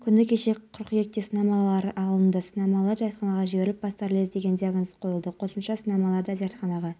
біздің қызметкерлердің балаларына қамқорлық кәсіпорын басшылығының ең басты міндеттерінің бірі қыркүйек жаңа оқу жылының басы болғандықтан